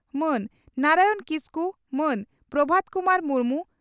ᱢᱟᱱ ᱱᱟᱨᱟᱭᱚᱱ ᱠᱤᱥᱠᱩ ᱢᱟᱱ ᱯᱨᱚᱵᱷᱟᱛ ᱠᱩᱢᱟᱨ ᱢᱩᱨᱢᱩ